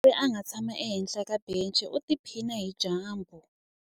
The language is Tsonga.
Ku na mudyuhari a nga tshama ehenhla ka bence u tiphina hi dyambu.